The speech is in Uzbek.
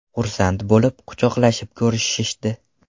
Xursand bo‘lib, quchoqlashib ko‘rishishdi.